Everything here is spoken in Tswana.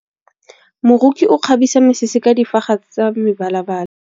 Moroki o kgabisa mesese ka difaga tsa mebalabala.